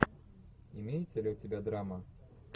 имеется ли у тебя драма